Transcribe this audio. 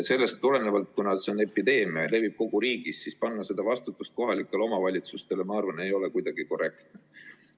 Sellest tulenevalt, kuna see on epideemia ja levib kogu riigis, panna see vastutus kohalikele omavalitsustele ei ole minu arvates kuidagi korrektne.